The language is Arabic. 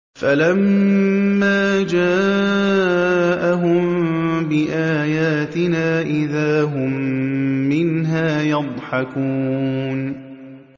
فَلَمَّا جَاءَهُم بِآيَاتِنَا إِذَا هُم مِّنْهَا يَضْحَكُونَ